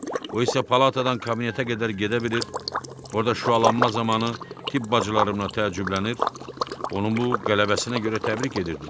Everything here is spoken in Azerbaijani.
O isə palatadan kabinetə qədər gedə bilir, orda şüalanma zamanı tibb bacıları ona təəccüblənir, onun bu qələbəsinə görə təbrik edirdilər.